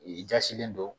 I jasilen don